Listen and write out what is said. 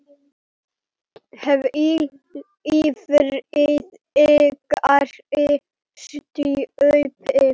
Hvíl í friði, kæri stjúpi.